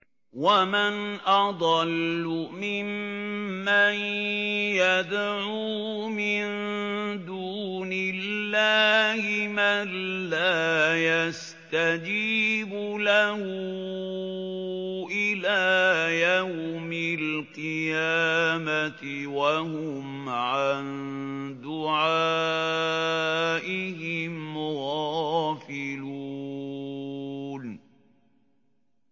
وَمَنْ أَضَلُّ مِمَّن يَدْعُو مِن دُونِ اللَّهِ مَن لَّا يَسْتَجِيبُ لَهُ إِلَىٰ يَوْمِ الْقِيَامَةِ وَهُمْ عَن دُعَائِهِمْ غَافِلُونَ